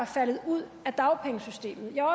faldet ud af dagpengesystemet jeg er